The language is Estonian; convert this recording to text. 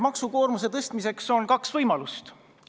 Maksukoormuse suurendamiseks on kaks võimalust.